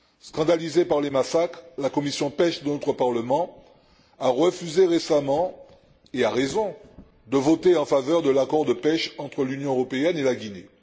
Scandalisée par ces massacres, la commission de la pêche de notre Parlement a refusé récemment, et avec raison, de voter en faveur de l'accord de pêche entre l'Union européenne et la Guinée.